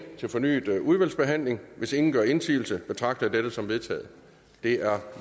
til fornyet udvalgsbehandling hvis ingen gør indsigelse betragter jeg dette som vedtaget det er